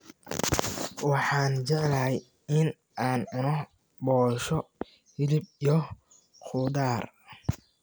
Waxaan jeclahay in aan cuno boshoo, hilib iyo khudaar